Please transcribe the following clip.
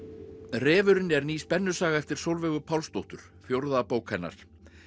refurinn er ný spennusaga eftir Sólveigu Pálsdóttur fjórða bók hennar